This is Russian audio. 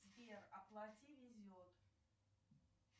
сбер оплати везет